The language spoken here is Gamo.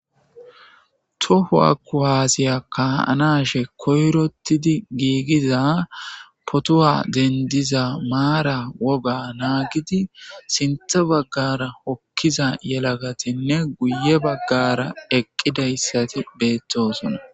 To kuwase kana hashe koyirotid gigiza potuwa denidiza mara woga nagid sinththa baggara hokiza yelagatinne guye bagara eqidayisat betosona